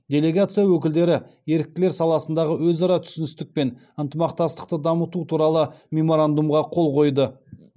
делегация өкілдері еріктілер саласындағы өзара түсіністік пен ынтымақтастықты дамыту туралы меморандумға қол қойды